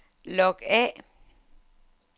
log af